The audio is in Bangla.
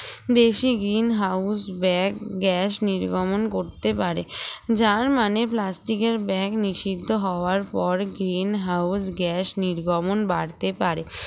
বেশি green house bag gas নির্গমন করতে পারে যার মানে plastic এর bag নিষিদ্ধ হওয়ার পর green house gas নির্গমন বাড়তে পারে